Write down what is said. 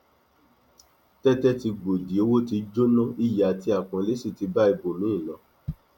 tètè tí gbòdì owó tí jóná iyì àti àpọnlé sí ti bá ibòmíì ń lọ